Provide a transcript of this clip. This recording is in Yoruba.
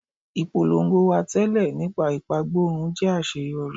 Ipolongo wa tẹlẹ nípa ipagborun jẹ aṣeyọri